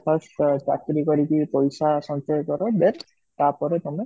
first first ଚାକିରି କରିକି ପଇସା ସଞ୍ଚୟ କର then ତାପରେ ତମେ